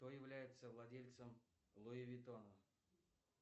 кто является владельцем луи витона